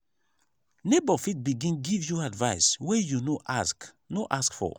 neighbour fit begin give you advise wey you no ask no ask for